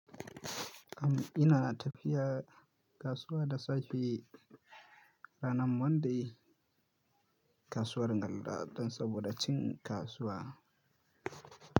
Am ina tafiya kasuwa da safe ranar Monday. Kasuwar Galla dan saboda cin kasuwa.